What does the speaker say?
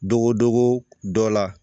Dogodogo dɔ la